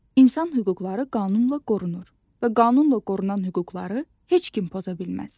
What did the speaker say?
İnsan hüquqları qanunla qorunur və qanunla qorunan hüquqları heç kim poza bilməz.